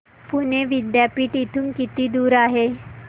पुणे विद्यापीठ इथून किती दूर आहे